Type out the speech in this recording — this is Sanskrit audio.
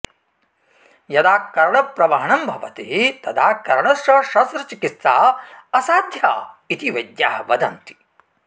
यदा कर्णप्रवहणं भवति तदा कर्णस्य शस्त्रचिकित्सा असाध्या इति वैद्याः वदन्ति